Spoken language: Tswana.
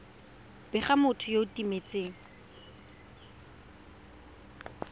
bega motho yo o timetseng